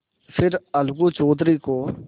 फिर अलगू चौधरी को